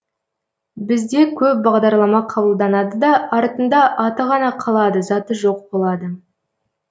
бізде көп бағдарлама қабылданады да артында аты ғана қалады заты жоқ болады